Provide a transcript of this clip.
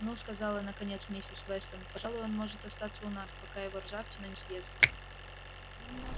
ну сказала наконец миссис вестон пожалуй он может остаться у нас пока его ржавчина не съест